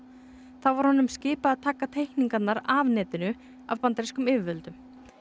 þá var honum skipað að taka teikningarnar af netinu af bandarískum yfirvöldum